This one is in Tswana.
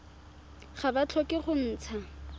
ga ba tlhoke go ntsha